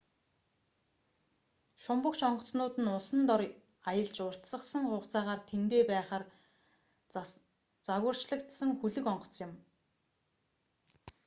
шумбагч онгоцнууд нь усан дор аялж уртасгасан хугацаагаар тэндээ байхаар загварчлагдсан хөлөг онгоц юм